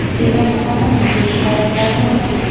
demak qonun buzilish holatlari mavjud.